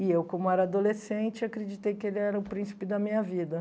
E eu, como era adolescente, acreditei que ele era o príncipe da minha vida.